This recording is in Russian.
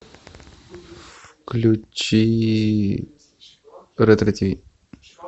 включи ретро тв